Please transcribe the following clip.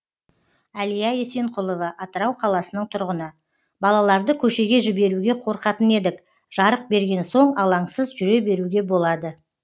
әлия есенқұлова атырау қаласының тұрғыны балаларды көшеге жіберуге қорқатын едік жарық берген соң алаңсыз жүре беруге болады